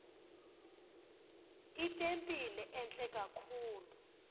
itempile entle kakhulu